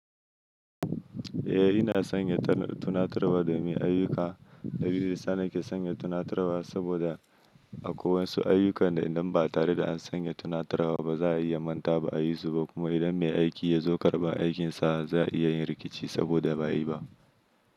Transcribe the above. Eh, ina sanya tunaturwa domin ayyuka. Dalilin dayasa na ke sanya tunaturwa saboda a ko wayansu ayyukan idan ba tare da an sanya tunaturwa ba za a iya mantawa ba a yi su ba. Kuma idan mai aiki ya zo karɓa aikinsa, za'a iya yin rikici saboda ba yi ba.